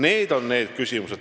Need on need küsimused.